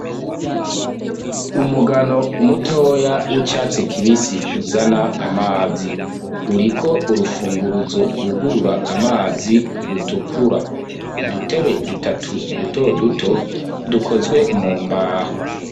Umugano umutoya w'icatsi kibisi uzana amazi uriko urufunguruzo rwugurura amazi rutukura k'udutebe dutatu duto duto dukozwe mu mbaho.